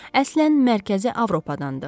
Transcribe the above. Əslən Mərkəzi Avropadandır.